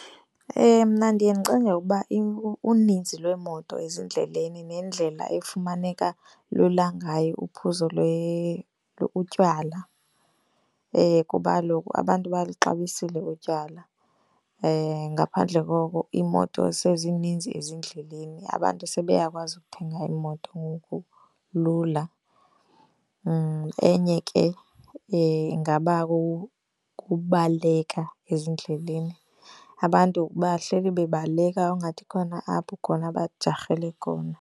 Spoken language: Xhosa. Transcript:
Mna ndiye ndicinge ukuba uninzi lweemoto ezindleleni nendlela efumaneka lula ngayo uphuzo utywala, kuba kaloku abantu baluxabisile utywala. Ngaphandle koko imoto sezininzi ezindleleni, abantu sebeyakwazi ukuthenga iimoto ngoku lula. Enye ke ingaba kubaleka ezindleleni. Abantu bahleli bebaleka engathi kukhona apho khona bajarhele khona.